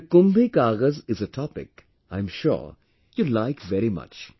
This KumbhiKagaz is a topic, I am sure you will like very much